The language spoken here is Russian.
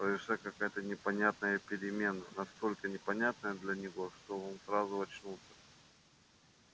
произошла какая то непонятная перемена настолько непонятная для него что он сразу очнулся